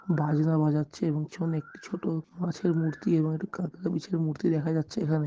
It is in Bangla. বাজনা বাজাচ্ছে এবং পেছনে একটি ছোট মাছের মূর্তি এবং একটি কাঁকড়া বিছের মূর্তি দেখা যাচ্ছে এখানে।